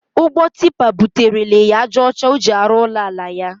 Ụgbọ tipa buterele ya ájá ọcha ọ ji arụ ụlọ ala ya.